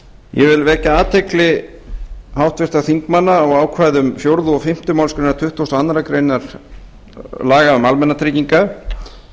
vil vekja athygli háttvirtra þingmanna á ákvæðum fjórða og fimmtu málsgrein tuttugustu og aðra grein laga um almannatryggingar